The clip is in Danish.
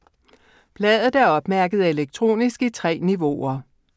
Bladet er opmærket elektronisk i 3 niveauer.